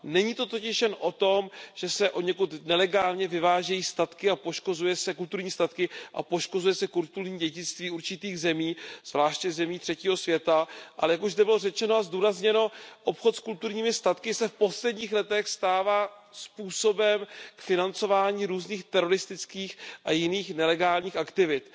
Není to totiž jen o tom, že se odněkud nelegálně vyvážejí kulturní statky a poškozuje se kulturní dědictví určitých zemí, zvláště zemí třetího světa, ale jak už zde bylo řečeno a zdůrazněno, obchod s kulturními statky se v posledních letech stává způsobem k financování různých teroristických a jiných nelegálních aktivit.